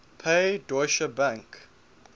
pay deutsche bank